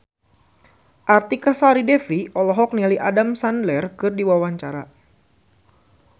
Artika Sari Devi olohok ningali Adam Sandler keur diwawancara